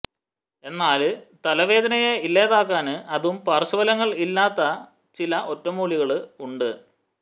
എന്നാല് തലവേദനയെ ഇല്ലാതാക്കാന് അതും പാർശ്വഫലങ്ങൾ ഇല്ലാത്ത ചില ഒറ്റമൂലികള് ഉണ്ട്